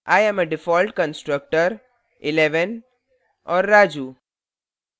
i am default constructor